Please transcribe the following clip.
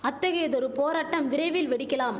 அத்தகையதொரு போராட்டம் விரைவில் வெடிக்கலாம்